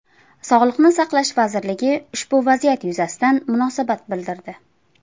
Sog‘liqni saqlash vazirligi ushbu vaziyat yuzasidan munosabat bildirdi .